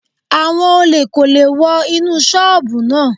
Àwọn olè kò lè wọ inú ṣọ́bùù náà.